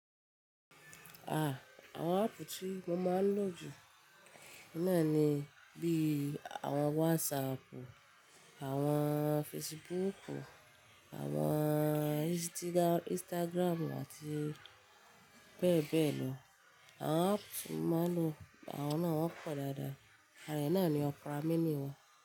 Ah! Àwọn áápù tí mo máa ń lò jù ní náà ni bí i àwọn WhatsAppu, àwọn Facebooku, àwọn Instagramu àti bẹ́ẹ̀ bẹ́ẹ̀ lọ. Àwọn áápù mo máa ń lò àwọn náà wọ́n pọ̀ dáadáa àrà náà ni ọpera míní wa.